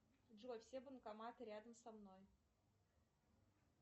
джой все банкоматы рядом со мной